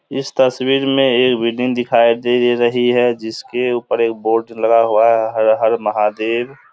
इस तस्वीर में एक बिल्डिंग दिखाई दे रही है जिसके ऊपर एक बोर्ड लगा हुआ है हर हर महादेव।